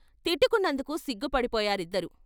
తిట్టుకున్నందుకు సిగ్గు పడిపోయారిద్దరూ.....